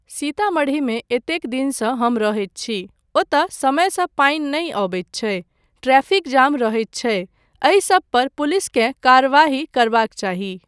सीतामढ़ीमे एतेक दिनसँ हम रहैत छी, ओतय समयसँ पानि नहि अबैत छै, ट्रैफिक जाम रहैत छै एहिसब पर पुलिसकेँ कार्यवाही करबाक चाही।